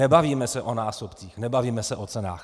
Nebavíme se o násobcích, nebavíme se o cenách.